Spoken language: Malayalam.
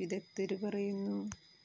വിദഗ്ധര് പറയുന്നു